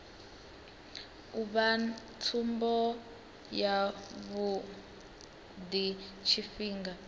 u vha tsumbo yavhui tshifhinga